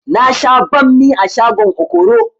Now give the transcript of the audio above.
Na sha banmi a shagon okoro